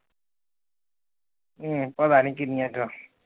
ਹਮ ਪਤਾ ਨੀ ਕੀਨੀਆਂ ਕੁ ਆ